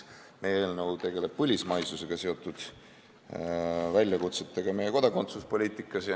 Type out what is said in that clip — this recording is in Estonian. Meie eelnõu tegeleb põlismaisusega seotud väljakutsetega kodakondsuspoliitikas.